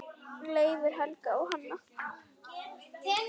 Leifur, Helga og Hanna.